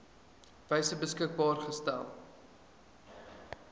wyse beskikbaar gestel